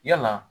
Yala